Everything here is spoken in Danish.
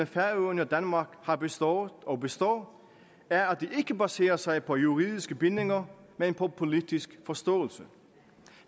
færøerne og danmark har bestået og består er at det ikke baserer sig på juridiske bindinger men på politisk forståelse